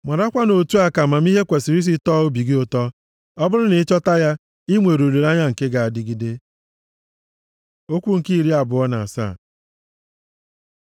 Marakwa na otu a ka amamihe kwesiri isi tọọ obi gị ụtọ. Ọ bụrụ na i chọta ya i nwere olileanya nke ga-adịgide. Okwu nke iri abụọ na asaa